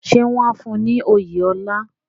Ṣé wọ́n á fún un ní oyè ọlá?